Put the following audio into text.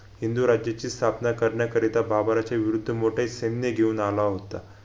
हिंदू राज्याची स्थापना करण्याकरिता बाबराच्या विरुद्ध मोठे सैन्य घेऊन आला होता